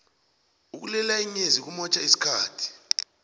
ukulilela inyezi kumotjha isikhathi